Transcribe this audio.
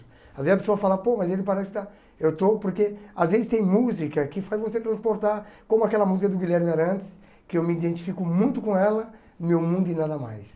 Às vezes a pessoa fala, pô, mas ele parece que está... Eu estou porque às vezes tem música que faz você transportar, como aquela música do Guilherme Arantes, que eu me identifico muito com ela, meu mundo e nada mais.